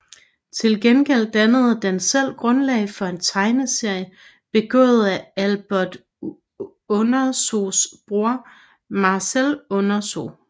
Til gengæld dannede den selv grundlag for en tegneserie begået af Albert Uderzos bror Marcel Uderzo